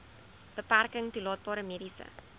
beperking toelaatbare mediese